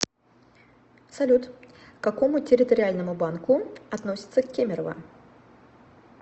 салют к какому территориальному банку относится кемерово